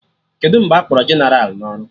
Kedụ mgbe akpọrọ jeneral na ọrụ?